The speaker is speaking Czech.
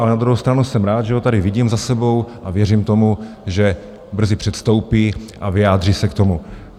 Ale na druhou stranu jsem rád, že ho tady vidím za sebou, a věřím tomu, že brzy předstoupí a vyjádří se k tomu.